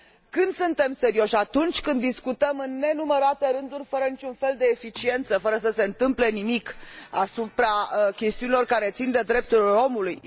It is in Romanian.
Când suntem serioși? Atunci când discutăm în nenumărate rânduri fără niciun fel de eficiență, fără să se întâmple nimic, asupra chestiunilor care țin de drepturile omului?